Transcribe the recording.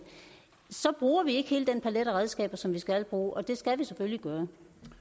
så bruger vi ikke hele den palet af redskaber som vi skal bruge og det skal vi selvfølgelig gøre